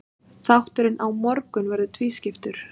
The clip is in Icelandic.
Þátturinn á morgun verður tvískiptur.